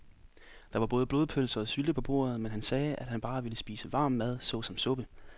Der var både blodpølse og sylte på bordet, men han sagde, at han bare ville spise varm mad såsom suppe.